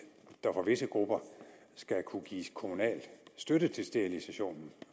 der for visse grupper skal kunne gives kommunal støtte til sterilisationen